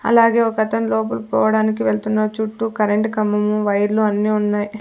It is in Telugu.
అలాగే ఒకతను లోపల్ పోవడానికి వెళ్తున్నా చుట్టూ కరెంటు కంబము వైర్లు అన్నీ ఉన్నాయ్.